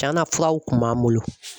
Tiɲɛna furaw kun b'an bolo.